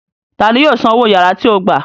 Ta ni yóò san owó yàrá tí ó gbà